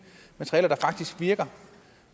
materialer der faktisk virker